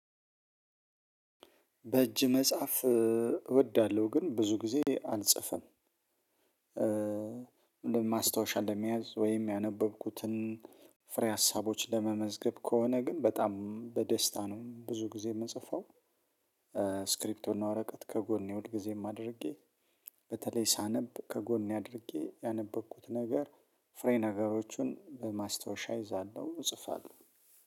በእጅ መጽሐፍ እወዳለሁ፣ ግን ብዙ ጊዜ አልጽፍም። ለማስታወሻ ለመያዝ ወይም ያነበብኩትን ፍሬ ሀሳቦች ለመመዝገብ ከሆነ ግን በጣም በደስታ ነው ብዙ ጊዜ የምጽፈው እስክሪብርቶ እና ወረቀት ከጎን ሁልጊዜም ማድረጌ በተለይ ሳነብ ከጎን አድርጌ ያነበብኩት ነገር ፍሬ ነገሮቹን በማስታወሻ ይዛለሁ እጽፋለሁ።